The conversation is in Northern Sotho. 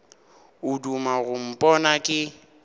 o duma go mpona ke